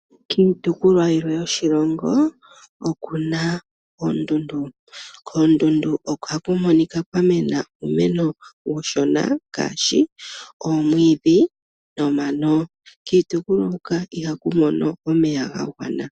Kiitopolwa yilwe yoshilongo oku na oondundu. Koondundu ohaku monika kwa mena uumeno uushona ngaashi oomwiidhi nomano. Kiitopolwa huka ihaku mono omeya ga gwana.